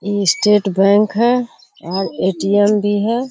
ई state bank है और ATM. भी है।